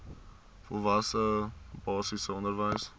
volwasse basiese onderwys